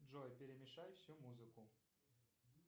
джой перемешай всю музыку